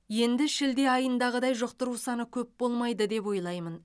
енді шілде айындағыдай жұқтыру саны көп болмайды деп ойлаймын